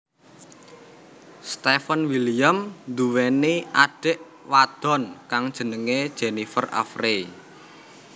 Steven William nduweni adhik wadon kang jenenge Jennifer Avery